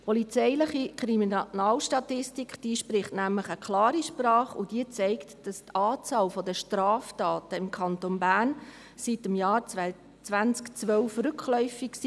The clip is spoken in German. Die polizeiliche Kriminalstatistik spricht nämlich eine deutliche Sprache und zeigt, dass die Anzahl der Straftaten im Kanton Bern seit dem Jahr 2012 rückläufig ist.